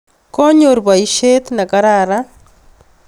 Konyor poisyet ne kararan